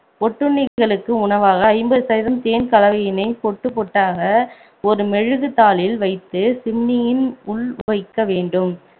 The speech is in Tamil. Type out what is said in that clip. ஒட்டுண்ணிகளுக்கு உணவாக ஐம்பது சதம் தேன் கலவையினை பொட்டு பொட்டாக ஒரு மெழுகு தாளில் வைத்து சிம்னியின் உள் வைக்க வேண்டும்